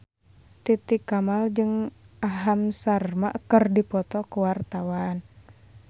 Titi Kamal jeung Aham Sharma keur dipoto ku wartawan